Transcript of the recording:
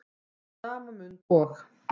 Í sama mund og